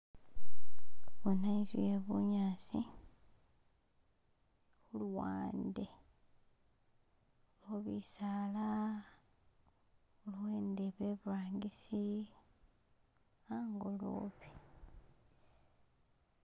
Bona inzu yebunyasi huluwande khulikho bisaala iliwo indebe iburangisi hangolobe